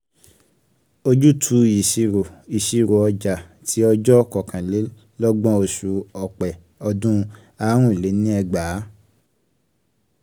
ojútùú ìṣirò ìṣirò ọjà ti ọjọ́ kọkànlélọ́gbọ̀n oṣù ọpẹ́ ọdún áàrùnléniẹgbàá.